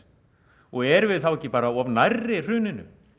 og erum við þá ekki bara of nærri hruninu